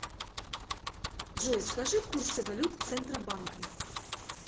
джой скажи курсы валют центробанка